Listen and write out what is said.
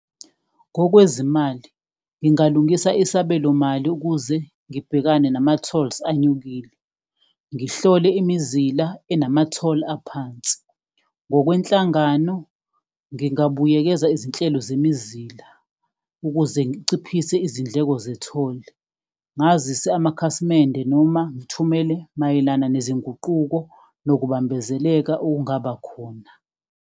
Ngokwezimali, ngingalungisa isabelomali ukuze ngibhekane nama-tolls anyukile, ngihlole imizila enama-toll aphansi. Ngokwenhlangano, ngingabuyekeza izinhlelo zemizila ukuze ngiciphise izindleko ze-toll, ngazise amakhasimende noma ngithumele mayelana nezinguquko nokubambezeleka okungaba khona.